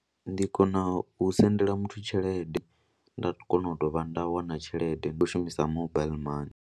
Ndi kona u sendela muthu tshelede nda kona u dovha nda wana tshelede ndi khou shumisa mobile money.